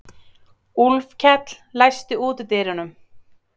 Úlfkell, læstu útidyrunum.